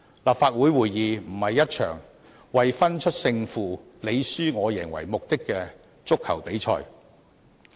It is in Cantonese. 立法會會議不是一場為分出勝負、你輸我贏為目的的足球比賽。